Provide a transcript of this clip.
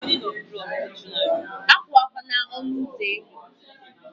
Akwụsịla ọnụ ụzọ enyo!